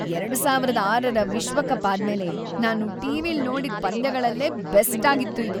ಎರಡು ಸಾವಿರದ ಆರರ ವಿಶ್ವಕಪ್ ಆದ್ಮೇಲೆ ನಾನು ಟಿ.ವಿ.ಲ್‌ ನೋಡಿದ್‌ ಪಂದ್ಯಗಳಲ್ಲೇ ಬೆಸ್ಟಾಗಿತ್ತು ಇದು.